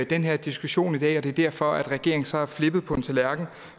den her diskussion i dag og det er derfor regeringen så er flippet på en tallerken